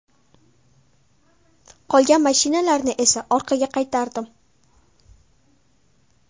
Qolgan mashinalarni esa orqaga qaytardim.